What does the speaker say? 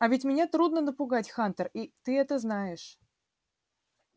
а ведь меня трудно напугать хантер и ты это знаешь